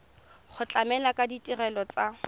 go tlamela ka ditirelo tsa